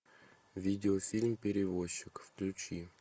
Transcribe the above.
видео фильм перевозчик включи